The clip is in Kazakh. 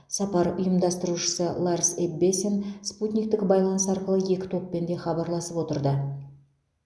сапар ұйымдастырушысы ларс эббесен спутниктік байланыс арқылы екі топпен де хабарласып отырды